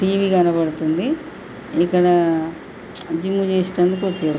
T V కనబడుతుంది ఇక్కడ gym చేసేటందుకోచ్చిరు.